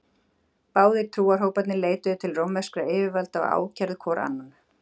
Báðir trúarhóparnir leituðu til rómverskra yfirvalda og kærðu hvor annan.